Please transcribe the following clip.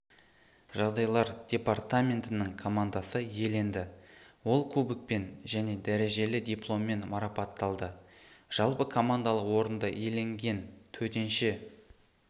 жағдайлар департаментінің командасы иеленді ол кубокпен және дәрежелі дипломмен марапатталды жалпы командалық орынды иеленген төтенше